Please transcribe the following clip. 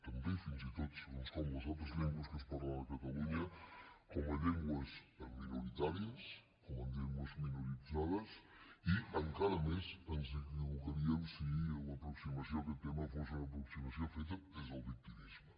també fins i tot segons com les altres llengües que es parlen a catalunya com a llengües minoritàries com a llengües minoritzades i encara més ens equivocaríem si l’aproximació a aquest tema fos una aproximació feta des del victimisme